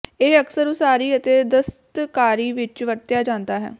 ਇਹ ਅਕਸਰ ਉਸਾਰੀ ਅਤੇ ਦਸਤਕਾਰੀ ਵਿੱਚ ਵਰਤਿਆ ਜਾਂਦਾ ਹੈ